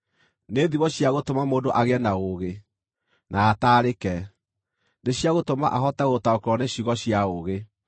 nĩ thimo cia gũtũma mũndũ agĩe na ũũgĩ, na ataarĩke; nĩ cia gũtũma ahote gũtaũkĩrwo nĩ ciugo cia ũũgĩ;